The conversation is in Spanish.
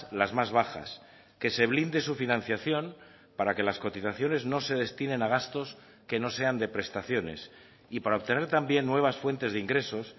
las más bajas que se blinde su financiación para que las cotizaciones no se destinen a gastos que no sean de prestaciones y para obtener también nuevas fuentes de ingresos